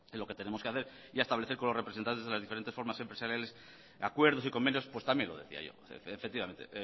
lo que tenemos que hacer ya establecer con los representantes de las diferentes formas empresariales acuerdos y convenios pues también lo decía yo efectivamente